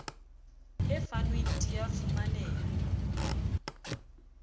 e fanweng di a fumaneha